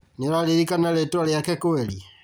Nĩũraririkana rĩtwa rĩake kweri?